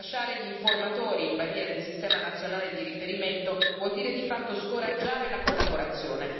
Lasciare gli informatori in balia del sistema nazionale di riferimento vuol dire di fatto scoraggiare la collaborazione.